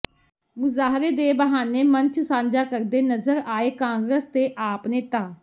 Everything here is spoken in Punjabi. ਮੁਜ਼ਾਹਰੇ ਦੇ ਬਹਾਨੇ ਮੰਚ ਸਾਂਝਾ ਕਰਦੇ ਨਜ਼ਰ ਆਏ ਕਾਂਗਰਸ ਤੇ ਆਪ ਨੇਤਾ